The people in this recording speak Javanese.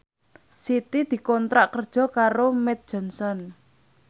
Siti dikontrak kerja karo Mead Johnson